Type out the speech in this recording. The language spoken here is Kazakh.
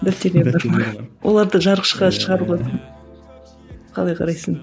оларды шығаруға қалай қарайсың